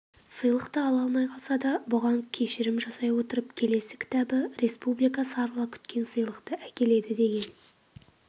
сыйлықты ала алмай қалса да бұған кешірім жасай отырып келесі кітабы республика сарыла күткен сыйлықты әкеледі деген